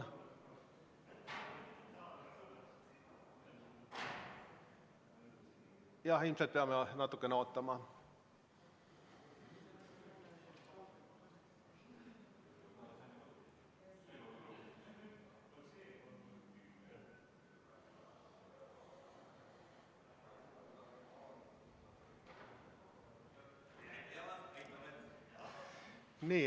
Jah, ilmselt peame natukene ootama.